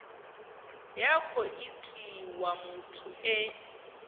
ya khou itiwa muthu e